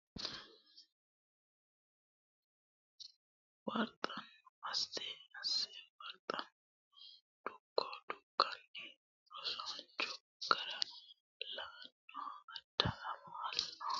warxanno Asse Asse warxanno Dukko Dukkanino rosaancho gara lainohu Aade Amalo huuro naggi Laalo uytinose xawishsha seekkite asse Hanni shii !